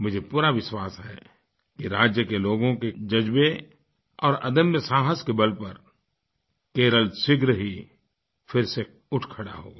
मुझे पूरा विश्वास है कि राज्य के लोगों के जज़्बे और अदम्य साहस के बल पर केरल शीघ्र ही फिर से उठ खड़ा होगा